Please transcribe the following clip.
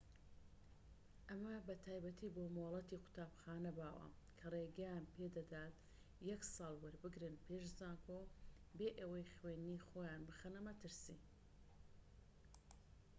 ئەمە بە تایبەتی بۆ مۆڵەتی قوتابخانە باوە کە ڕێگەیان پێدەدات یەک ساڵ وەربگرن پێش زانکۆ بێ ئەوەی خوێندنی خۆیان بخەنە مەترسی